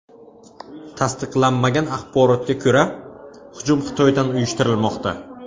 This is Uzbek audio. Tasdiqlanmagan axborotga ko‘ra, hujum Xitoydan uyushtirilmoqda.